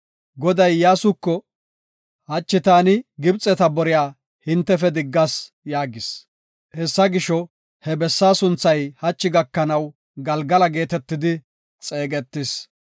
Goday Iyyasuko, “Hachi taani Gibxeta boriya hintefe diggas” yaagis. Hessa gisho, he bessaa sunthay hachi gakanaw Galgala geetetidi xeegetees.